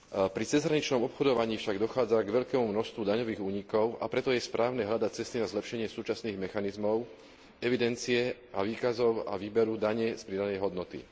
Pri cezhraničnom obchodovaní však dochádza k veľkému množstvu daňových únikov, a preto je správne hľadať cesty na zlepšenie súčasných mechanizmov evidencie a výkazov a výberu dane z pridanej hodnoty.